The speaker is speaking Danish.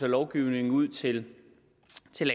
i lovgivningen ud til